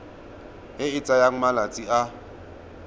e e tsayang malatsi a